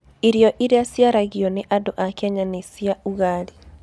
Irio iria ciaragio nĩ andũ a Kenya nĩ cia ugali.